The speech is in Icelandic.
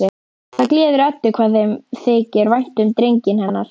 Það gleður Eddu hvað þeim þykir vænt um drenginn hennar.